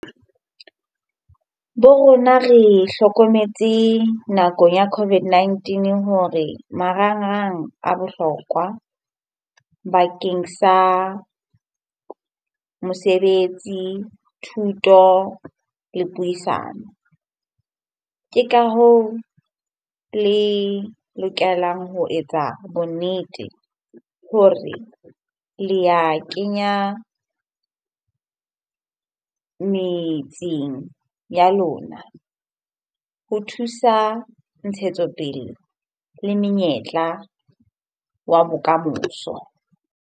Bo rona re hlokometse nakong ya COVID-19 hore marangrang a bohlokwa bakeng sa mosebetsi, thuto le puisano. Ke ka hoo le lokelang ho etsa bonnete hore le a kenya metseng ya lona ho thusa ntshetsopele le menyetla wa bokamoso.